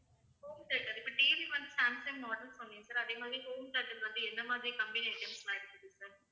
home theater இப்ப TV வந்து Samsung order பண்ணேன் sir அதே மாதிரி home theater வந்து எந்த மாதிரி company items லாம் இருக்குது sir